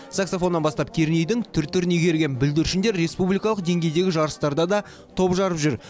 саксофоннан бастап кернейдің түр түрін игерген бүлдіршіндер республикалық деңгейдегі жарыстарда да топ жарып жүр